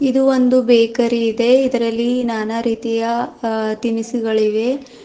ಇದು ಒಂದು ಬೇಕರಿ ಇದೆ ಇದರಲ್ಲಿ ನಾನಾ ರೀತಿಯ ಆ ತಿನಿಸುಗಳಿವೆ.